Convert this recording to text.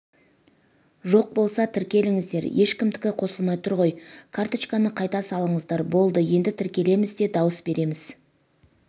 жоқ болса тіркеліңіздер ешкімдікі қосылмай тұр ғой карточканы қайта салыңыздар болды енді тіркелеміз де дауыс береміз